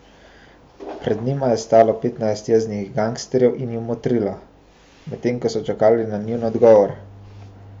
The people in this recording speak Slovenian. Pred njima je stalo petnajst jeznih gangsterjev in ju motrilo, medtem ko so čakali na njun odgovor.